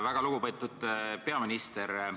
Väga lugupeetud peaminister!